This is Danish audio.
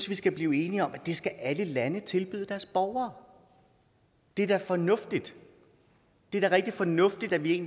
vi skal blive enige om at alle lande skal tilbyde deres borgere det er da fornuftigt det er da rigtig fornuftigt at vi